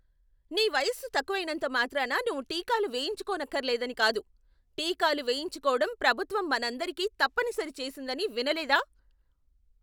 నీ వయస్సు తక్కువైనంత మాత్రాన నువ్వు టీకాలు వేయించుకోనక్కరలేదని కాదు. టీకాలు వేయించుకోవడం ప్రభుత్వం మనందరికీ తప్పనిసరి చేసిందని వినలేదా?